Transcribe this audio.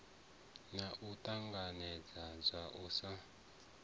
naa u ṱanganedzwa na u